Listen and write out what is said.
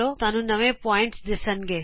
ਤੁਹਾਨੂੰ ਨਵੇ ਬਿੰਦੂ ਦਿੱਸਣਗੇ